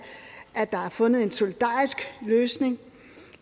at der er fundet en solidarisk løsning